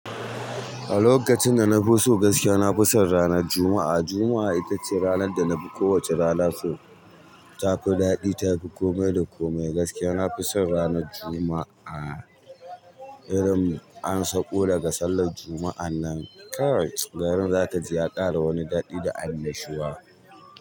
A lokacin da na fi so gaskiya, na fi son ranar Juma'a. Juma'a itace ranar danafi kowace rana so, tafi daɗi tafi komai da komai. Gaskiya, na fi son ranar Juma'a. Irin ansaƙo daga sallar Juma'a nan kai, garin za ka ji ya ƙara wani daɗi da annashuwa.